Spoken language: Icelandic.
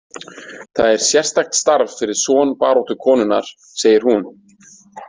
Það er sérstakt starf fyrir son baráttukonunnar, segir hún.